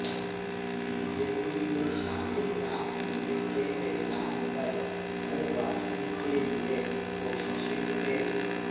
B J پی میں شامل نہ ہونے کے اعلان پر گھر واپسی کیلئے کوششیں تیز